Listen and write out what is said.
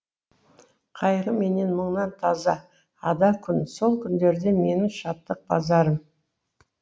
қайғы менен мұңнан таза ада күн сол күндерде менің шаттық базарым